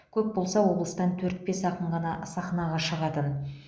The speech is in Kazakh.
көп болса облыстан төрт бес ақын ғана сахнаға шығатын